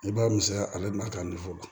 I b'a misɛnya ale bɛna